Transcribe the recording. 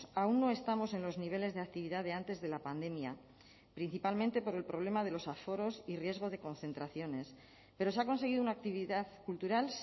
aún no estamos en los niveles de actividad de antes de la pandemia principalmente por el problema de los aforos y riesgo de concentraciones pero se ha conseguido una actividad cultural